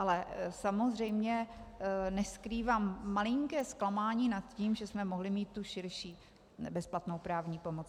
Ale samozřejmě neskrývám malinké zklamání nad tím, že jsme mohli mít tu širší bezplatnou právní pomoc.